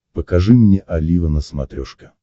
покажи мне олива на смотрешке